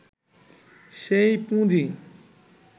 সেই পুঁজি